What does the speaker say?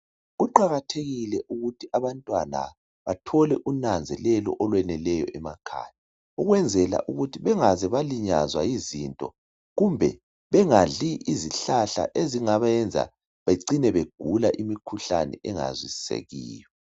Kuqakathekile ukuthi abantwana bathole unanzelelo onweleleyo emakhaya ukwenzela ukuthi bengaze balinwaza yizinto kumbe bengadli izihlahla ezingabayenza becina begula imikhuhlane engazwisisekiyo.